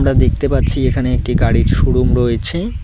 দেখতে পাচ্ছি এখানে একটি গাড়ির শোরুম রয়েছে।